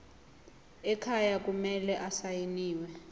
ekhaya kumele asayiniwe